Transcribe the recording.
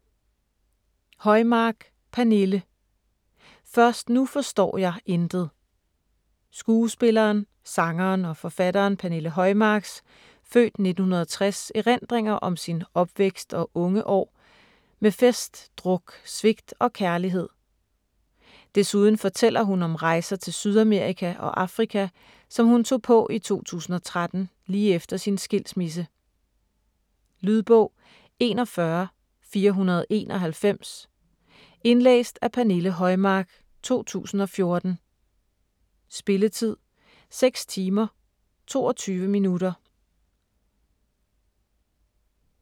Højmark, Pernille: Først nu forstår jeg intet Skuespilleren, sangeren og forfatteren Pernille Højmarks (f. 1960) erindringer om sin opvækst og unge år - med fest, druk, svigt og kærlighed. Desuden fortæller hun om rejser til Sydamerika og Afrika, som hun tog på i 2013, lige efter sin skilsmisse. Lydbog 41491 Indlæst af Pernille Højmark, 2014. Spilletid: 6 timer, 22 minutter.